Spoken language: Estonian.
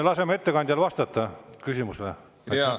Laseme ettekandjal vastata küsimusele!